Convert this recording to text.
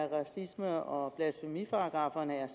at racisme og blasfemiparagrafferne er